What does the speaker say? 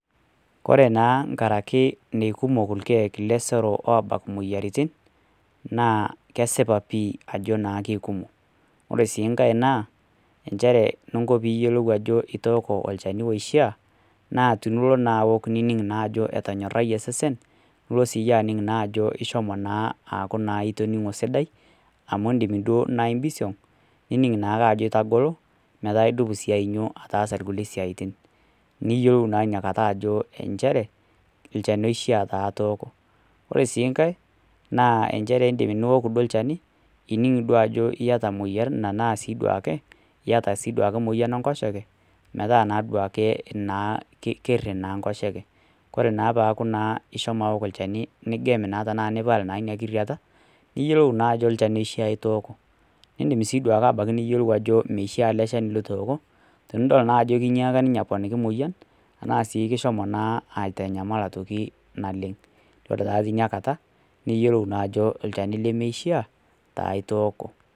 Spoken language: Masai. Ore naa nkaraki neikumok lkeek lesero obak moyiaritin, naa kesipa sii ajo keikumok ,ore sii nkaek naa nchere pee yiolou olchani oishiaa laa tinilo naa aok nining naa ajo etonyorayie osesennilo siiyie naa aning ajo itoningo sidai amu indim naa pisiong nining nake ajo itagolo metaa idup sii ainyio ataasa rkulie siatin. niyiolou taa inakata ajo nchere olchani oishaa taa itoko ,ore sii nkae naa nchere indim sii niok lchani nining naa ajo iyata moyian ,iyata duake moyian enkoshoke metaa kerii na nkoshoke ,ore naa peeku naa ishomo aok lchani nigem naa ana ipal ina kiriata niyiolou naa ajo olchani oishaa itooko, nindim sii niyiolou duake abaiki ajo meishaa ele shani litooko tenidol naa ajo kinyaak ninye aponiki mpoyian tena siai kishomo naa aitanyamal aitoki naleng. ore taa tinakata niyiolou taa ajo olchani lemeishaa itooko.